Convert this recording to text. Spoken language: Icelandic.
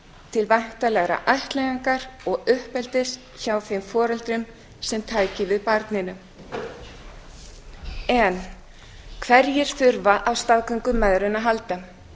til væntanlegrar ættleiðingar og uppeldis hjá þeim foreldrum sem tækju við barninu hverjir þurfa á staðgöngumæðrun að halda